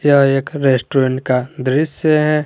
यह एक रेस्टोरेंट का दृश्य है।